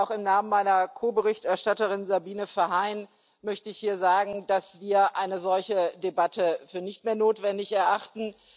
Auch im Namen meiner Ko Berichterstatterin Sabine Verheyen möchte ich hier sagen, dass wir eine solche Debatte für nicht mehr notwendig erachten.